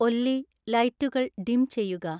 ഒല്ലി ലൈറ്റുകൾ ഡിം ചെയ്യുക